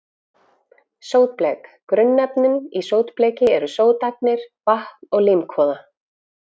Sótblek Grunnefnin í sótbleki eru sótagnir, vatn og límkvoða.